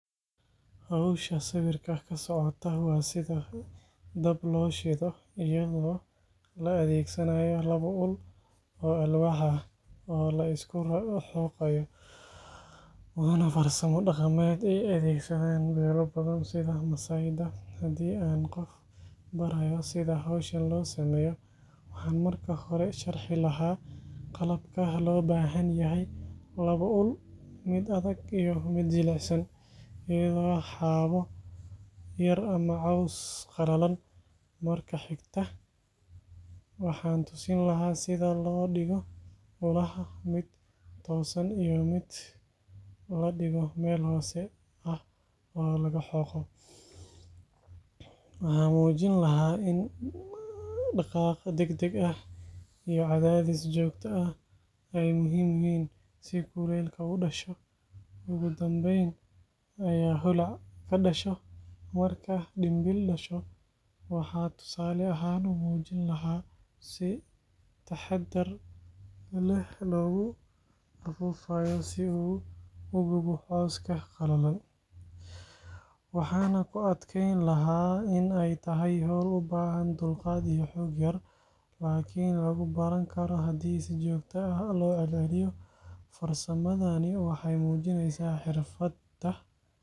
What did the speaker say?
Hawsha sawirkan ka socota waa sida dab loo shido iyadoo la adeegsanayo labo ul oo alwaax ah oo la isku xoqayo, waana farsamo dhaqameed ay adeegsadaan beelo badan sida Maasai-da. Haddii aan qof barayo sida hawshan loo sameeyo, waxaan marka hore sharxi lahaa qalabka loo baahan yahay: labo ul, mid adag iyo mid jilicsan, iyo xaabo yar ama caws qalalan. Marka xigta, waxaan tusin lahaa sida loo dhigo ulaha, mid toosan iyo mid la dhigo meel hoose ah oo laga xoqo. Waxaan muujin lahaa in dhaqaaq degdeg ah iyo cadaadis joogto ah ay muhiim yihiin si kulaylka u dhasho, ugu dambeyna ay holac ka dhasho. Marka dhimbiil dhasho, waxaan tusaale ahaan u muujin lahaa sida si taxadar leh loogu afuufayo si uu u gubo cawska qalalan. Waxaan ku adkeyn lahaa in ay tahay hawl u baahan dulqaad iyo xoog yar, laakiin lagu baran karo haddii si joogto ah loo celceliyo. Farsamadani waxay muujinaysaa xirfadda.